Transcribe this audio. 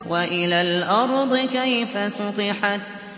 وَإِلَى الْأَرْضِ كَيْفَ سُطِحَتْ